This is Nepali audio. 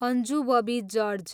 Anju Bobby George